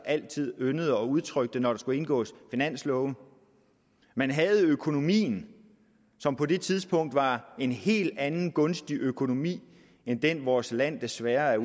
altid yndede at udtrykke det når der skulle indgås finanslove man havde økonomien som på det tidspunkt var en helt anden gunstig økonomi end den vores land desværre